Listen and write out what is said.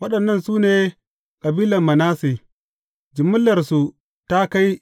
Waɗannan su ne kabilan Manasse, jimillarsu ta kai